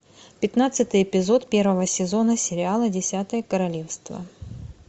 пятнадцатый эпизод первого сезона сериала десятое королевство